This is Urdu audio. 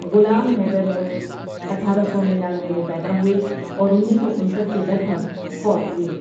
غلام حیدر مونس اٹھارہ سو ننانوے میں پیدا ہوئے اور انیس سو انسٹھ کے لگ بھگ فوت ہوئے ۔